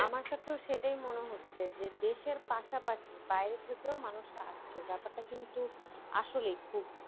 আমার কাছেও সেটাই মনে হচ্ছে যে দেশের পাশাপাশি বাইরে থেকেও মানুষরা আসছে। ব্যাপারটা কিন্তু আসলেই খুব